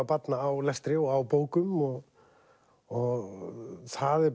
barna á lestri og á bókum og og það er